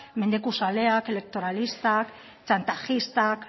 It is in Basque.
mendekuzaleak elektoralistak txantajistak